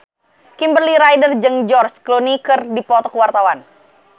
Kimberly Ryder jeung George Clooney keur dipoto ku wartawan